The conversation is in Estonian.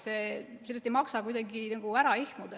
Sellest ei maksa kuidagi ära ehmuda.